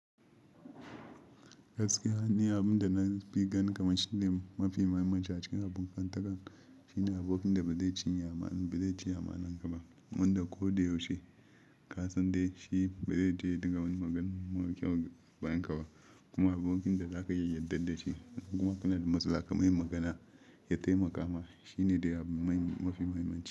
Gaskiya ni abun da na fi ganin kamar shi ne mafi muhimmanci a cikin abokantaka shine abokin da ba zai cinye amana, ba zai ci amanan ka ba, wanda ko da yaushe, kasan dai shi ba zai je ya dunga wani magana mara kyau a bayanka ba, kuma abokin da za ka iya yarda da shi in kuma kana da matsala ka mai magana ya taimaka ma shi ne dai mafi muhimmanci.